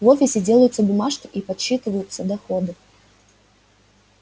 в офисе делаются бумажки и подсчитываются доходы